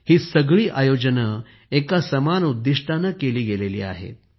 ही सगळी आयोजने एका समान उद्दिष्टाने केली गेलेली आहेत